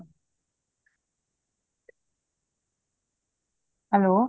hello